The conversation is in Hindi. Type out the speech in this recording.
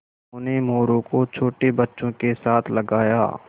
उन्होंने मोरू को छोटे बच्चों के साथ लगाया